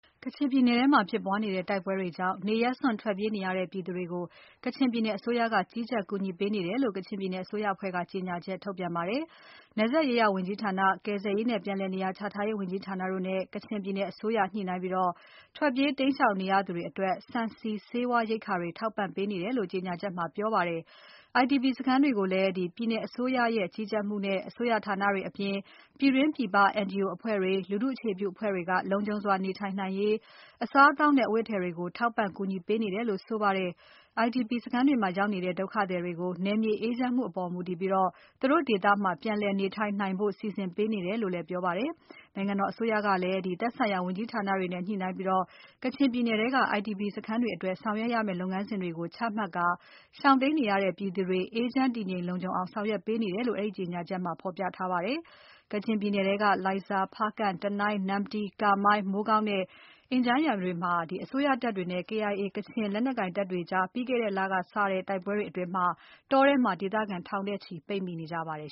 ကချင်ပြည်နယ်ထဲမှာဖြစ်ပွားနေတဲ့ တိုက်ပွဲတွေကြောင့် နေရပ်စွန့် ထွက်ပြေးနေရတဲ့ ပြည်သူတွေကို ကချင်ပြည်နယ်အစိုးရက ကြီးကြပ် ကူညီပေးနေတယ်လို့ ကချင်ပြည်နယ်အစိုးရအဖွဲ့က ကြေညာချက်ထုတ်ပြန်ပါတယ်။ နယ်စပ်ရေးရာဝန်ကြီးဌာန၊ ကယ်ဆယ်ရေးနဲ့ ပြန်လည်နေရာချထားရေးဝန်ကြီးဌာနတို့နဲ့ ကချင်ပြည်နယ်အစိုးရက ညှိနှိုင်းပြီး ထွက်ပြေးတိမ်းရှောင်နေရသူတွေအတွက် ဆန်။ ဆီ။ ဆေးဝါးရိက္ခာတွေ ထောက်ပံ့ပေးနေတယ်လို့ ကြေညာချက်ထဲမှာ ပြောထားပါတယ်။ IDP စခန်းတွေကိုလည်း ပြည်နယ်အစိုးရရဲ့ ကြီးကြပ်မှုနဲ့ အစိုးရဌာနတွေအပြင် ပြည်တွင်းပြည်ပ NGO အဖွဲ့တွေ၊ လူထုအခြေပြုအဖွဲ့တွေက လုံခြုံစွာနေထိုင်နိုင်ရေး၊ အစားအသောက်နဲ့ အဝတ်အထည်တွေကို ထောက်ပံ့ကူညီပေးနေတယ်လို့ဆိုပါတယ်။ IDP စခန်းတွေမှာရောက်နေတဲ့ ဒုက္ခသည်တွေကို နယ်မြေအေးချမ်မှုအပေါ် မူတည်ပြီး သူတို့ ဒေသမှာ ပြန်လည်နေထိုင်နိုင်ဖို့ စီစဉ်ပေးနေတယ်လို့ ပြောပါတယ်။ နိုင်ငံတော်အစိုးရကလည်း သက်ဆိုင်ရာ ဝန်ကြီးဌာနတွေနဲ့ ညှိုှုနှိုင်းပြီး ကချင်ပြည်နယ်ထဲက IDP စခန်းတွေအတွက် ဆောင်ရွက်ရမယ့် လုပ်ငန်းစဉ်တွေကို ချမှတ်ကာ ရှောင်တိမ်းနေရတဲ့ ပြည်သူတွေ အေးချမ်းတည်ငြိမ် လုံခြုံအောင် ဆောင်ရွက်ပေးနေတယ်လို့ အဲဒီကြေညာချက်ထဲမှာ ဖော်ပြထားပါတယ်။ ကချင်ပြည်နယ်ထဲက လိုင်ဇာ၊ ဖားကန့်၊ တနိုင်း၊ နမ္မတီး၊ ကာမိုင်း၊ မိုးကောင်းနဲ့ အင်ဂျန်းယန်တို့မှာ အစိုးရတပ်တွေနဲ့ KIA ကချင်လက်နက်ကိုင်တပ်တွေကြား ပြီးခဲ့တဲ့လက စတဲ့ တိုက်ပွဲတွေ အတွင်း တောထဲမှာ ဒေသခံ ထောင်နဲ့ချီ ပိတ်မိနေကြပါတယ်